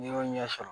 N'i y'o ɲɛ sɔrɔ